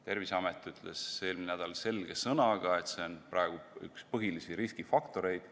Terviseamet ütles eelmisel nädalal selge sõnaga, et see on praegu üks põhilisi riskifaktoreid.